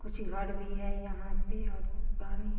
कुछ घर भी है यहाँ पे और पानी --